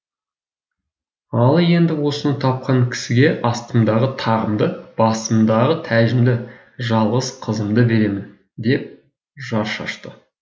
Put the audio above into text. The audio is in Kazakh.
ал енді осыны тапқан кісіге астымдағы тағымды басымдағы тәжімді жалғыз қызымды беремін деп жар шашты